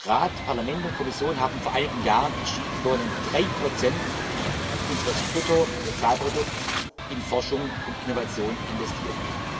Rat, Parlament und Kommission haben vor einigen Jahren entschieden Wir wollen drei Prozent unseres Bruttosozialprodukts in Forschung und Innovation investieren.